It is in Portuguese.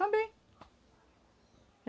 Também.